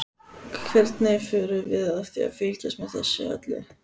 Hvernig förum við að því að fylgjast með þessu öllu?